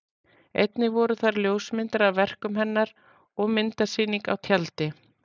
Einnig voru þar ljósmyndir af verkum hennar og myndasýning á tjaldi.